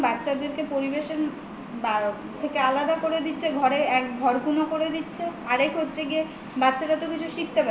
বাচ্ছাদের পরিবেশের থেকে আলাদা করে দিচ্ছে ঘরকুনো করে দিচ্ছে আর এক হচ্ছে গিয়ে বাচ্ছারা কিছু শিখতে পারছে না